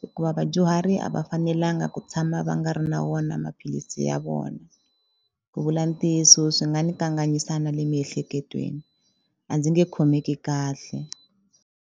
hikuva vadyuhari a va fanelanga ku tshama va nga ri na wona maphilisi ya vona ku vula ntiyiso swi nga ni kanganyisa na le miehleketweni a ndzi nge khomeki kahle.